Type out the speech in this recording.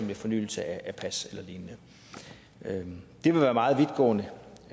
ved fornyelse af pas eller lignende det vil være meget vidtgående